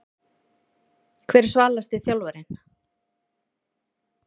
Hver er svalasti þjálfarinn?